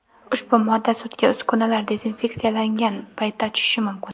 Ushbu modda sutga uskunalar dezinfeksiyalangan paytda tushishi mumkin.